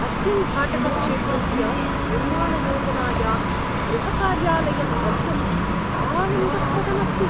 अस्मिन् भाटकक्षेत्रस्य निर्माणयोजनायां गृहकार्यालयं द्रष्टुम् आनन्दप्रदम् अस्ति।